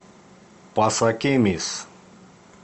пасакемис